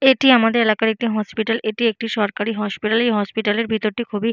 এটি আমাদের এলাকার একটি হসপিটাল এটি একটি সরকারি হসপিটাল । এই হসপিটাল এর ভিতর টি খুবই--